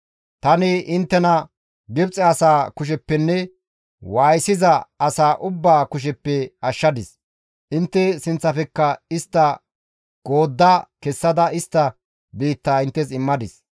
Tani inttena Gibxe asaa kusheppenne waayisiza asaa ubbaa kusheppe ashshadis; intte sinththafekka istta goodda kessada istta biittaa inttes immadis.